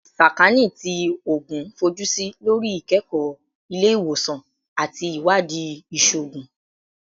Sakaani ti Oogun fojusi lori ikẹkọ ile-iwosan ati iwadii iṣoogun